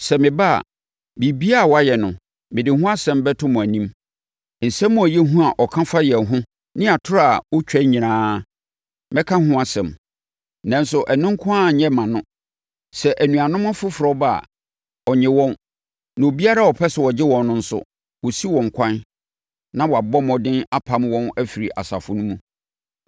Sɛ meba a, biribiara a wayɛ no, mede ho asɛm bɛto mo anim. Nsɛm a ɛyɛ hu a ɔka fa yɛn ho ne atorɔ a ɔtwa nyinaa, mɛka ho asɛm. Nanso, ɛno nko ara nyɛ mma no. Sɛ anuanom afoforɔ ba a, ɔnnye wɔn, na obiara a ɔpɛ sɛ ɔgye wɔn no nso, ɔsi wɔn kwan na wabɔ mmɔden apam wɔn afiri asafo no mu.